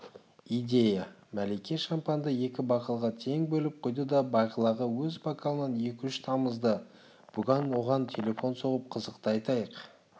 идея мәлике шампанды екі бокалға тең бөліп құйды да бағилаға өз бокалынан екі-үш тамызды бүгін оған телефон соғып қызықты айтайық